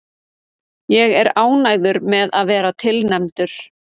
Ég er ánægður með að vera tilnefndur.